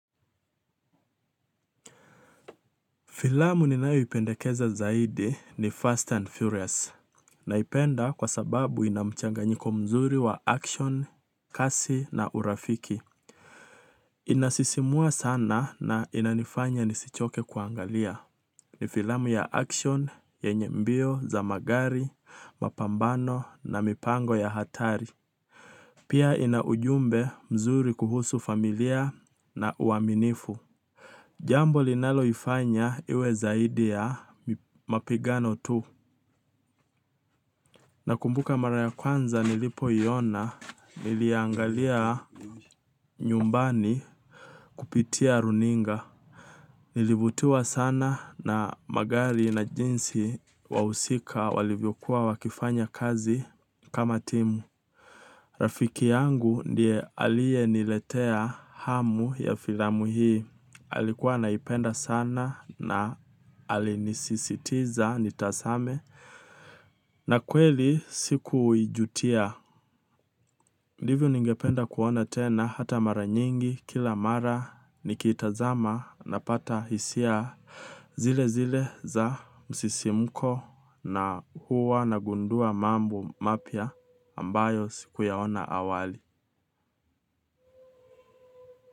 Filamu ninao ipendekeza zaidi ni Fast and Furious na ipenda kwa sababu inamchanga nyiko mzuri wa action, kasi na urafiki. Inasisimua sana na inanifanya nisichoke kuangalia. Ni filamu ya action, yenye mbio, zamagari, mapambano na mipango ya hatari. Pia ina ujumbe mzuri kuhusu familia na uaminifu. Jambo linalo ifanya iwe zaidi ya mapigano tu. Na kumbuka mara ya kwanza nilipo iona niliangalia nyumbani kupitia runinga. Nilivutiwa sana na magari na jinsi wahusika walivyokuwa wakifanya kazi kama timu. Rafiki yangu ndiye alie niletea hamu ya filamu hii. Alikuwa anaipenda sana na alinisisitiza nitazame. Na kweli siku ijutia ndivyo ningependa kuona tena hata mara nyingi kila mara nikitazama napata hisia. Zile zile za msisimuko na huwa nagundua mambo mapiya ambayo siku yaona awali.